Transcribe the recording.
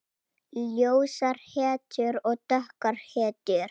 Ljósar hetjur og dökkar hetjur.